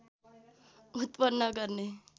उत्पन्न गर्ने